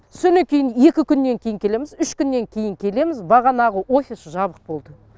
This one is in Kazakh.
соннан кейін екі күннен кейін келеміз үш күннен кейін келеміз бағанағы офис жабық болды